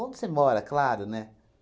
Onde você mora, claro, né?